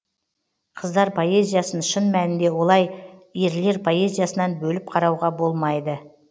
қыздар поэзиясын шын мәнінде олай ерлер поэзиясынан бөліп қарауға болмайды